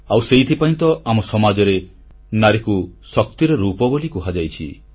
ଆଉ ସେଥିପାଇଁ ନାରୀକୁ ଶକ୍ତିର ରୂପ ବୋଲି କୁହାଯାଇଛି